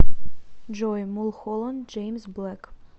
джой мулхоланд джеймс блэк